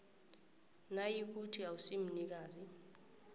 nayikuthi awusi mnikazi